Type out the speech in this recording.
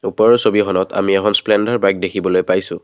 ওপৰৰ ছবিখনত আমি এখন স্প্লেণ্ডাৰ বাইক দেখিবলৈ পাইছোঁ।